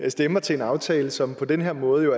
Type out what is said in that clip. og stemmer til en aftale som på den her måde jo